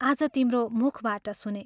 आज तिम्रो मुखबाट सुनें।